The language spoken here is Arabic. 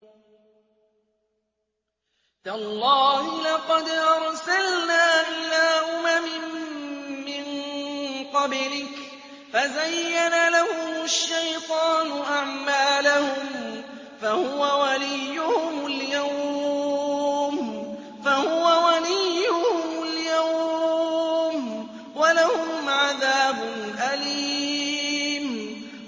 تَاللَّهِ لَقَدْ أَرْسَلْنَا إِلَىٰ أُمَمٍ مِّن قَبْلِكَ فَزَيَّنَ لَهُمُ الشَّيْطَانُ أَعْمَالَهُمْ فَهُوَ وَلِيُّهُمُ الْيَوْمَ وَلَهُمْ عَذَابٌ أَلِيمٌ